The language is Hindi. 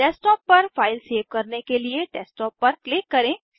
डेस्कटॉप पर फाइल सेव करने के लिए डेस्कटॉप पर क्लिक करें